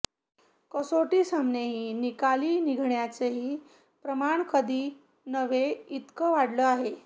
कसोटी सामनेही निकाली निघण्याचंही प्रमाण कधी नव्हे इतकं वाढलं आहे